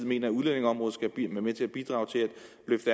mener at udlændingeområdet skal bidrage til